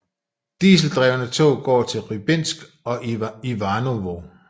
Dieseldrevne tog går til Rybinsk og Ivanovo